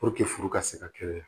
furu ka se ka kɛnɛya